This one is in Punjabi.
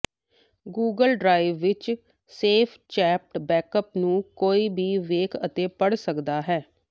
ਗੂਗਲ ਡਰਾਈਵ ਵਿਚ ਸੇਵ ਚੈਟ ਬੈਕਅਪ ਨੂੰ ਕੋਈ ਵੀ ਵੇਖ ਅਤੇ ਪੜ ਸਕਦਾ ਹੈ